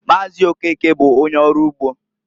Maazi Okeke bụ onye ọrụ ugbo.